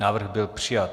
Návrh byl přijat.